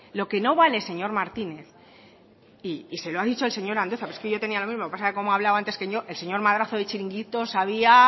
lo que no vale señor martínez y se lo ha dicho el señor andueza pero es que yo lo tenía lo mismo lo que pasa que como ha hablado antes que yo el señor madrazo de chiringuitos sabía